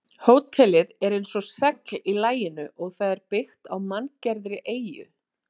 Hótelið er eins og segl í laginu og það er byggt á manngerðri eyju.